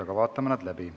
Aga vaatame nad läbi.